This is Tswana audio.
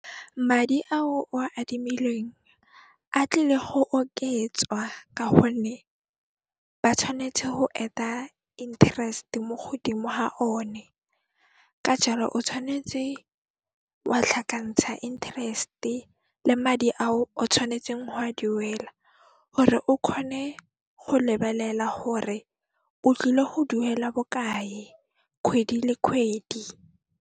Madi ao o a adimilweng, a tlile ho oketswa ka honne ba tshwanetse ho add-a interest mo godimo ha one, ka jaalo o tshwanetse wa tlhakantsha interest le madi a o tshwanetseng ho a duela hore o kgone ho lebelela hore o tlile ho duela bokae kgwedi le kgwedi.